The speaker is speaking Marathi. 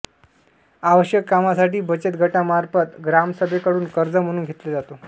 आवश्यक कामासाठी बचत गटामार्फत ग्रामसभेकडुन कर्ज म्हणून घेतले जातो